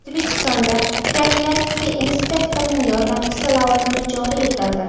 O‘zbekistonda profilaktika inspektorining yordamchisi lavozimi joriy etildi.